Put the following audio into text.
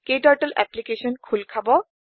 ক্টাৰ্টল application খোল খাব